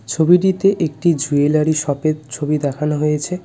ছবিটিতে একটি জুয়েলারি শপের ছবি দেখানো হয়েছে.